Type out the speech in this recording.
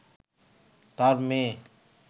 তার মেয়ে